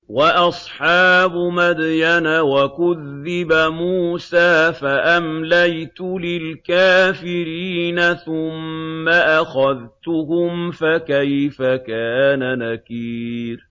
وَأَصْحَابُ مَدْيَنَ ۖ وَكُذِّبَ مُوسَىٰ فَأَمْلَيْتُ لِلْكَافِرِينَ ثُمَّ أَخَذْتُهُمْ ۖ فَكَيْفَ كَانَ نَكِيرِ